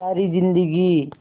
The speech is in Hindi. सारी जिंदगी